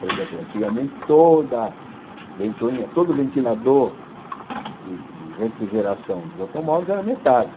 Por exemplo, antigamente, toda ventoinha, todo ventilador de de refrigeração dos automóveis era metálico.